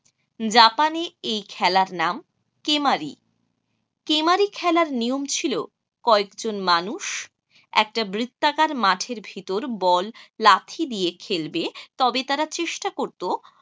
জাপানে এই খেলার নাম কেমারি। কেমারি খেলার নিয়ম ছিল কয়েকজন মানুষ একটা বৃত্তাকার মাঠের ভেতর বল লাথি দিয়ে খেলবে তবে তারা চেষ্টা করত